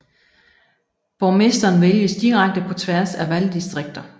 Borgmesteren vælges direkte på tværs af valgdistrikter